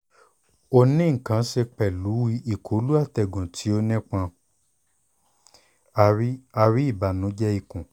o ni nkan ṣe pẹlu ikolu atẹgun ti o nipọn (ari) (ari) ibanujẹ ikun